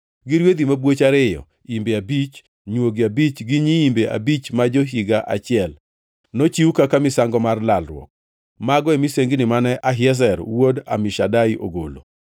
gi rwedhi mabwoch ariyo, imbe abich, nywogi abich gi nyiimbe abich ma jo-higa achiel, nochiw kaka misango mar lalruok. Mago e misengini mane Ahiezer wuod Amishadai ogolo.